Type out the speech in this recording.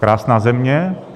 Krásná země.